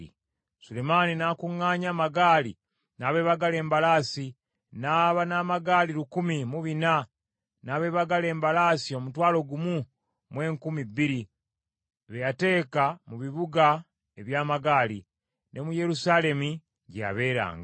Sulemaani n’akuŋŋaanya amagaali n’abeebagala embalaasi; n’aba n’amagaali lukumi mu bina, n’abeebagala embalaasi omutwalo gumu mu enkumi bbiri, be yateeka mu bibuga eby’amagaali, ne mu Yerusaalemi gye yabeeranga.